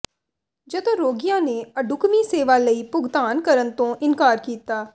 ਜਦੋਂ ਰੋਗੀਆਂ ਨੇ ਅਢੁਕਵੀਂ ਸੇਵਾ ਲਈ ਭੁਗਤਾਨ ਕਰਨ ਤੋਂ ਇਨਕਾਰ ਕੀਤਾ